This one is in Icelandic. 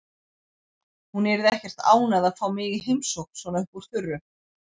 Hún yrði ekkert ánægð að fá mig í heimsókn svona upp úr þurru.